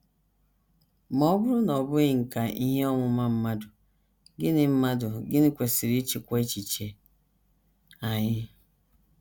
Ma ọ bụrụ na ọ bụghị nkà ihe ọmụma mmadụ, gịnị mmadụ, gịnị kwesịrị ịchịkwa echiche anyị?